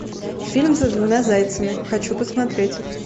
фильм за двумя зайцами хочу посмотреть